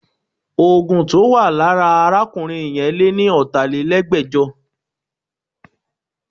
Oògùn tí ó wà lára arákùnrin yẹn lé ní ọ̀tálelẹ́gbẹ́jọ